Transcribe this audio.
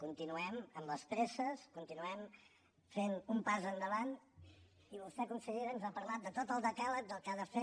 continuem amb les presses continuem fent un pas endavant i vostè consellera ens ha parlat de tot el decàleg del que ha de fer